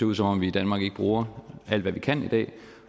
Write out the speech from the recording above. ud som om vi i danmark ikke bruger alt hvad vi kan i dag